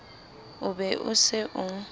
o be o se o